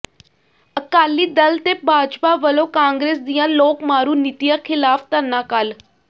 ਅਕਾਲੀ ਦਲ ਤੇ ਭਾਜਪਾ ਵੱਲੋਂ ਕਾਂਗਰਸ ਦੀਆਂ ਲੋਕ ਮਾਰੂ ਨੀਤੀਆਂ ਿਖ਼ਲਾਫ਼ ਧਰਨਾ ਕੱਲ੍ਹ